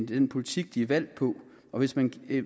den politik de er valgt på og hvis man